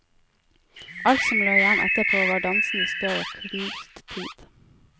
Alt som lå igjen etterpå var dansende støv av knust tid.